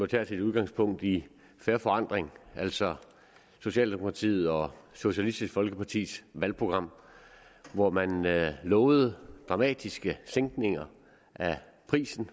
taget sit udgangspunkt i fair forandring altså socialdemokratiet og socialistisk folkepartis valgprogram hvor man lovede dramatiske sænkninger af prisen